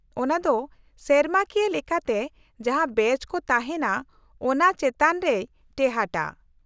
-ᱚᱱᱟ ᱫᱚ ᱥᱮᱨᱢᱟᱠᱤᱭᱟᱹ ᱞᱮᱠᱟᱛᱮ ᱡᱟᱦᱟᱸ ᱵᱮᱪ ᱠᱚ ᱛᱟᱦᱮᱱᱟ ᱚᱱᱟ ᱪᱮᱛᱟᱱ ᱨᱮᱭ ᱴᱮᱦᱟᱴᱟ ᱾